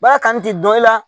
Baara kanu tɛ dɔ i la